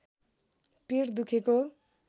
पेट दुखेको